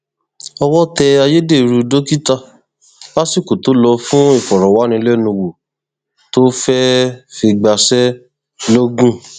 owó tẹ ayédèrú dókítà lásìkò tó lò fún ìfọrọwánilẹnuwò tó fẹẹ fi gbaṣẹ lọgùn